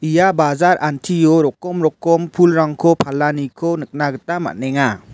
ia bajar antio rokom rokom pulrangko palaniko nikna gita man·enga.